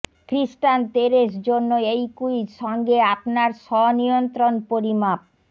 খৃস্টান তেরেস জন্য এই ক্যুইজ সঙ্গে আপনার স্ব নিয়ন্ত্রণ পরিমাপ